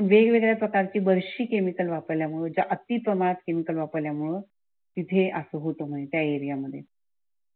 वेग वेगळ्या प्राकारची बर्शी केमिकल वापरल्यामुळे अति प्रमाणात केमिकल वापरल्या मूळ जे असं होतो म्हणजे त्या एरिया मध्ये.